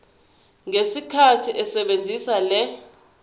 ngesikhathi esebenzisa le